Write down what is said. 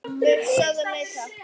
Við sögðum nei, takk!